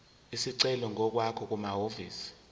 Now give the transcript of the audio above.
isicelo ngokwakho kumahhovisi